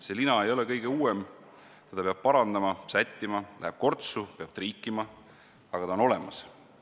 See lina ei ole kõige uuem, teda peab parandama, sättima, läheb kortsu, peab triikima, aga ta on olemas.